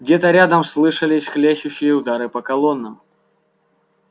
где-то рядом слышались хлещущие удары по колоннам